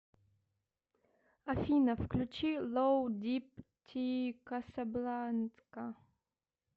афина включи лоу дип ти касабланка